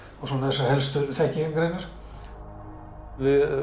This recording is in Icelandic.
helstu þekkingargreinar við